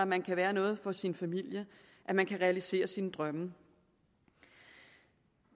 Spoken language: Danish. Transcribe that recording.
man kan være noget for sin familie at man kan realisere sine drømme